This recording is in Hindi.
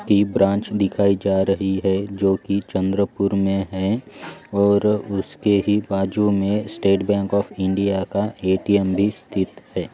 की ब्रांच दिखाई जा रही है जो की चंद्रपूर मे है और उसके ही बाजू मे स्टेट बैंक ऑफ इंडिया का ए_टी_एम भी स्थित है।